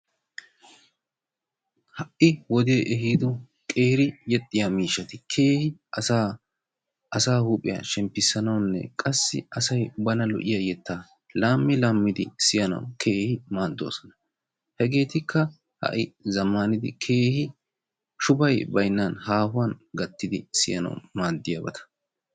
Ha"i wodee ehiido qeeri yexxiya miishshati asaa huuphiya shemppissanawunne qassi asay bana lo'iya yettaa laammi laammidi siyanawu keehi maaddoosona. Hegeetikka ha"i zammaanidi shubay baynnan haahuwan siyanawu maaddiyabata